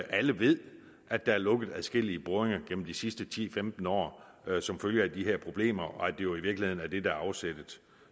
alle ved at der er lukket adskillige boringer gennem de sidste ti til femten år som følge af de her problemer og at det jo i virkeligheden er det der er afsættet